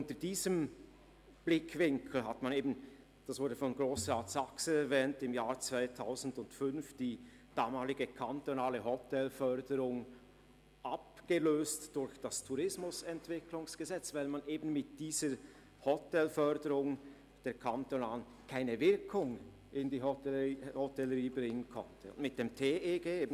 Unter diesem Blickwinkel wurde – Grossrat Saxer hat es erwähnt – im Jahr 2005 die damalige Hotelförderung durch das Tourismusentwicklungsgesetz vom 1. Januar 2006 (TEG) abgelöst, weil man mit dieser kantonalen Hotelförderung keine Wirkung in der Hotellerie entfalten konnte.